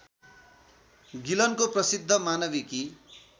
गिलनको प्रसिद्ध मानविकी